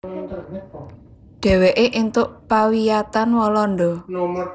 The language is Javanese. Dheweke èntuk pawiyatan Walanda